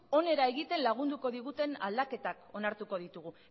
onera egiten lagunduko diguten aldaketak onartuko ditugu